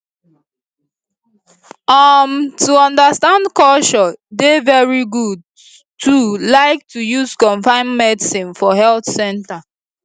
um to understand culture dey very good too like to use confam medicines for health centers